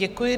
Děkuji.